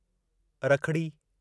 रखिड़ी